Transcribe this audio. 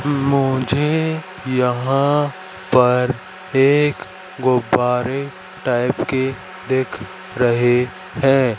मुझे यहां पर एक गुब्बारे टाइप के दिख रहे हैं।